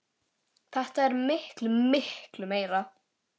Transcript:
Þetta er miklu, miklu meira.